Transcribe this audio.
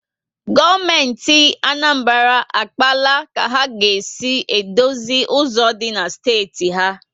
Gọọmenti Anambra akpaala ka ha ga esi dozi ụzọ dị na steeti ha